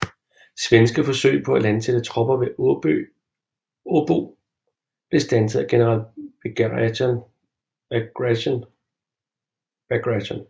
Svenske forsøg på at landsætte tropper ved Åbo blev standset af general Bagration